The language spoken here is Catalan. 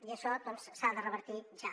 i això s’ha de revertir ja